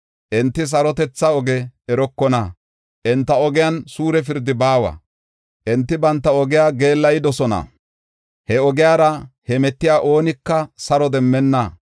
Enti sarotetha oge erokona; enta ogiyan suure pirdi baawa. Enti banta ogiya geellayidosona; he ogiyara hemetiya oonika saro demmenna.